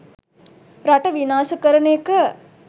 රට විනාශ කරන එක.